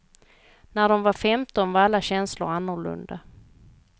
När de var femton var alla känslor annorlunda.